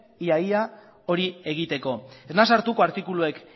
ia ia hori egiteko ez naiz sartuko artikuluak